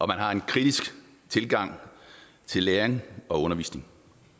man har en kritisk tilgang til læring og undervisning